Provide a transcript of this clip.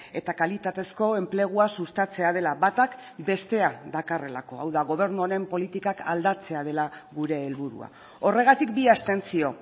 eta kalitatezko enplegua sustatzea dela batak bestea dakarrelako hau da gobernu honen politikak aldatzea dela gure helburua horregatik bi abstentzio